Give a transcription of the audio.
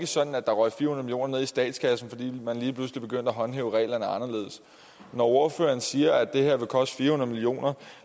sådan at der røg fire millioner ned i statskassen fordi man lige pludselig begyndte at håndhæve reglerne anderledes når ordføreren siger at det her vil koste fire hundrede millioner